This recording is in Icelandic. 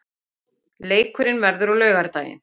Leikurinn verður á laugardaginn.